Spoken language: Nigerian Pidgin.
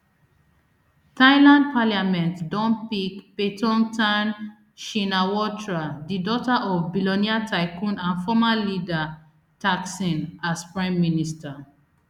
thailand parliament don pick paetongtarn shinawatra di daughter of billionaire tycoon and former leader thaksin as prime minister